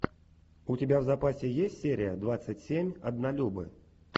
у тебя в запасе есть серия двадцать семь однолюбы